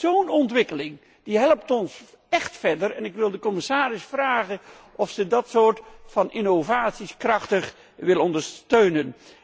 Zo'n ontwikkeling helpt ons echt verder, en ik wil de commissaris vragen of ze dat soort innovaties krachtig wil ondersteunen.